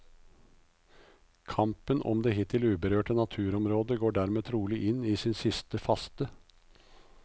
Kampen om det hittil uberørte naturområdet går dermed trolig inn sin siste faste.